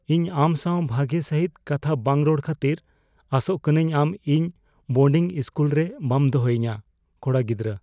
ᱤᱧ ᱟᱢ ᱥᱟᱶ ᱵᱷᱟᱜᱮ ᱥᱟᱹᱦᱤᱛ ᱠᱟᱛᱷᱟ ᱵᱟᱝ ᱨᱚᱲ ᱠᱷᱟᱹᱛᱤᱨ ᱟᱥᱚᱜ ᱠᱟᱹᱱᱟᱹᱧ ᱟᱢ ᱤᱧ ᱵᱳᱰᱤᱝ ᱤᱥᱠᱩᱞ ᱨᱮ ᱵᱟᱢ ᱫᱚᱦᱚᱭᱤᱧᱟ ? (ᱠᱚᱲᱟ ᱜᱤᱫᱨᱟᱹ)